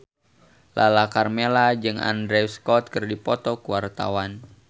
Lala Karmela jeung Andrew Scott keur dipoto ku wartawan